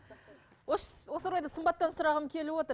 осы орайда сымбаттан сұрағым келіп отыр